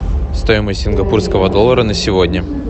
стоимость сингапурского доллара на сегодня